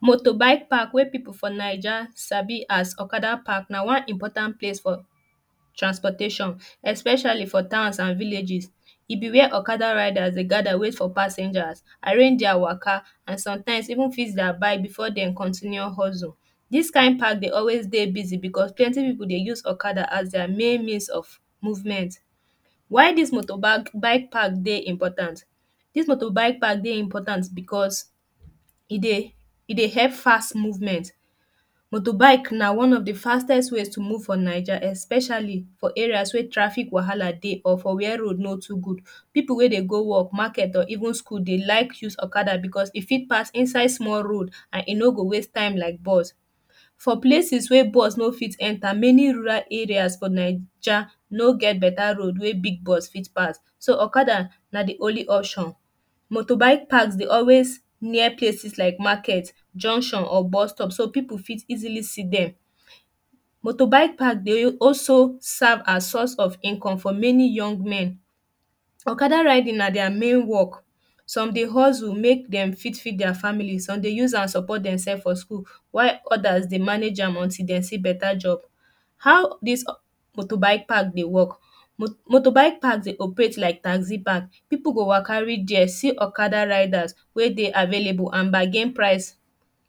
motor bike park wey people for naija sabi as okada park na one important place for transportation especially for towns and villages e bi wey okada rida dey gada wait for passengers arrange dier waka and sometimes even fix dier bikes before dem continue hustle dis kind park dey always dey busi becos plenty people dey always use okada as dier main means of movement wen dis moto bike park dey important dis moto bike dey important becos e dey help fast movement moto bike na one of de fastest way to move for naija especially for area wey traffic wahala dey or for area wey road no too good people wey dey go work market or even school de like use okada becos e fit pass inside small road and e no go waste time like bus for places wey bus no fit enta many um rides many areas for naija no get beta road wey big bus fit pass so okada na dey only option moto bike parks dey always near cases like market junction or bustop so people fit easili see dem moto bike parks dey also serve as source of income for many young men okada riding na dier main work some dey hustle make dem fit feed dier family some dey use am support dem sef for school why odas dey manage am until dey see beta job how dis moto bike park dey work moto bike park de operate like taxi park people go waka reach dey see okada ridas wey dey available and bargain price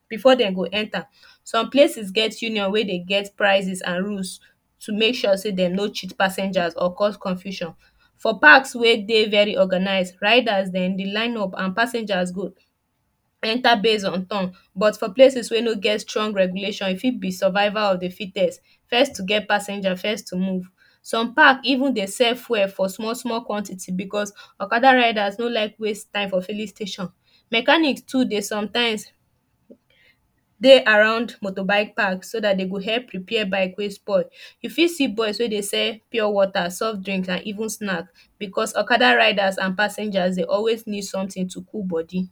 before dem go enta some places get union wey dey get prices and rules to make sure sey dey no cheat passengers or cos confusion for parks wey dey very organise ridas dem dey line up and passengers go who go enta base on turn but for places wey no get strong regulation e fit be survival of de fitest fest to get passengers fest to move some park even dey sell fuel for small small quantiti bcos okada ridas no like waste time for filling station mekanics too dey sometimes dey around moto bike park so dat dem go repair bikes wey spoil you fit see boys wey dey sell pure water soft drinks and even snacks bcos okada ridas and passengers dey always need something to cool body